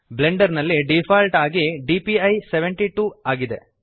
Blender ನಲ್ಲಿ default ಆಗಿ DPI 72 ಆಗಿದೆ